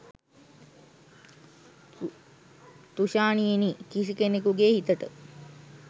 තුෂාණියෙනි කිසි කෙනෙකුගෙ හිතට